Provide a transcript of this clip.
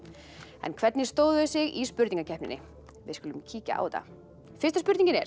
en hvernig stóðu þau sig í spurningakeppninni við skulum kíkja á þetta fyrsta spurningin er